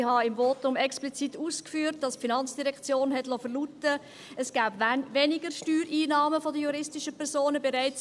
Ich habe im Votum explizit ausgeführt, dass die FIN verlauten liess, dass es bereits im Jahr 2019 weniger Steuereinnahmen von den juristischen Personen gebe.